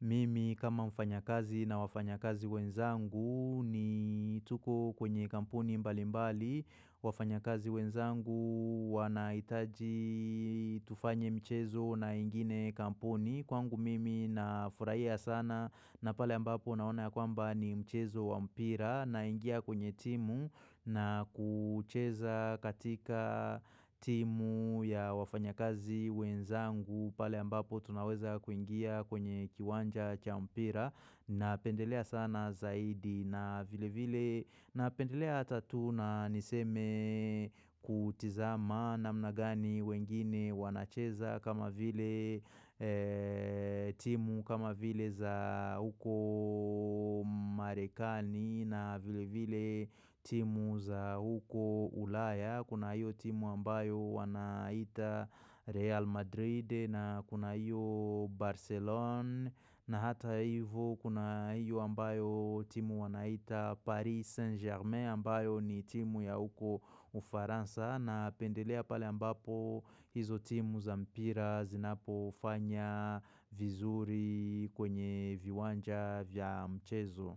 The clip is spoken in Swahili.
mimi kama mfanyakazi na wafanyakazi wenzangu ni tuko kwenye kampuni mbali mbali wafanya kazi wenzangu wanahitaji tufanye mchezo na ingine kampuni. Kwangu mimi na furahia sana na pale ambapo naona ya kwamba ni mchezo wa mpira na ingia kwenye timu na kucheza katika timu ya wafanyakazi wenzangu pale ambapo tunaweza kuingia kwenye kiwanja cha mpira napendelea sana zaidi na vile vile napendelea hata tu na niseme kutizama namna gani wengine wanacheza kama vile timu kama vile za huko marekani na vile vile timu za huko ulaya Kuna hiyo timu ambayo wanaita Real Madrid na kuna hiyo Barcelona na hata hivo kuna hiyo ambayo timu wanaita Paris Saint German ambayo ni timu ya huko ufaransa napendelea pale ambapo hizo timu za mpira zinapofanya vizuri kwenye viwanja vya mchezo.